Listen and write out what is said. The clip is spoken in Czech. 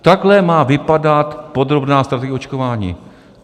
Takhle má vypadat podrobná strategie očkování.